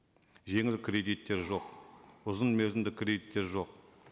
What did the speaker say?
жеңіл кредиттер жоқ ұзын мерзімді кредиттер жоқ